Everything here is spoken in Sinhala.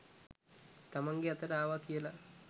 තමන්ගේ අතට ආවා කියල.